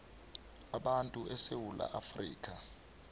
abantu esewula afrika